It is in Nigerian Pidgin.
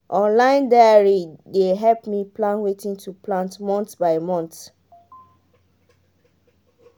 online diary dey help me plan wetin to plant month by month.